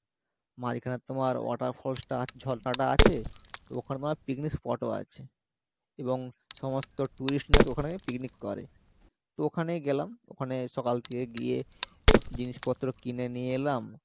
মাঝখানে তোমার water falls টা ঝর্ণা টা আছে তো ওখানে তোমার picnic spot ও আছে এবং সমস্ত tourist নাকি ওখানে picnic করে। তো ওখানে গেলাম ওখানে সকাল থেকে গিয়ে জিনিসপত্র কিনে নিয়ে এলাম